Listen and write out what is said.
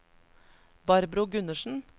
Barbro Gundersen